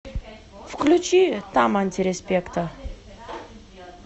включи там антиреспекта